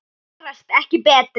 Gerast ekki betri.